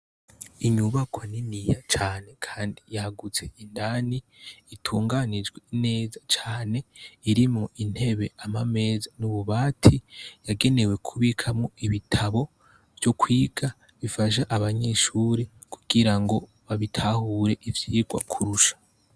Inyubakwa niniya cane kandi yagutse indani itunganijwe neza cane irimwo intebe amameza nububati yagenewe kubikamwo ibitabo vyokwiga bifashe abanyeshure kugirango babitahure ivyirwa kurusha